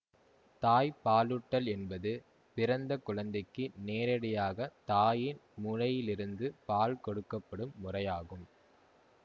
தாய்ப்பாலூட்டல் என்பது பிறந்த குழந்தைக்கு நேரடியாகத் தாயின் முலையிலிருந்து பால் கொடுக்க படும் முறையாகும்